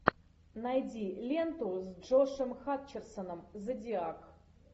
найди ленту с джошем хатчерсоном зодиак